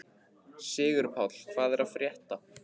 Sigurpáll, hvað er að frétta?